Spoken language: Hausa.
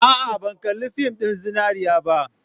A'a, ban kalli fin ɗin Zinariya ba.